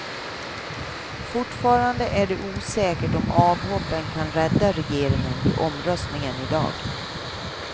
Fortfarande är det osäkert om avhoppen kan rädda regeringen vid omröstningen i dag.